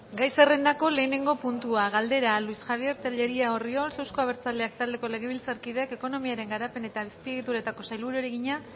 gai zerrendako lehenengo puntua luis javier tellería orriols euzko abertzaleak taldeko legebiltzarkideak ekonomiaren garapen eta azpiegituretako sailburuari egina